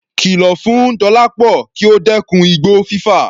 Kìlọ̀ fún Dọlápọ kí ó dẹ́kun igbó fífà.